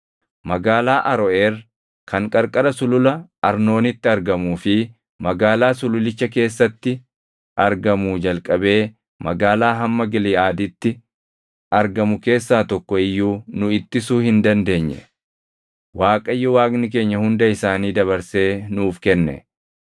Magaalaa Aroʼeer kan qarqara Sulula Arnoonitti argamuu fi magaalaa sululicha keessatti argamuu jalqabee magaalaa hamma Giliʼaaditti argamu keessaa tokko iyyuu nu ittisuu hin dandeenye. Waaqayyo Waaqni keenya hunda isaanii dabarsee nuuf kenne.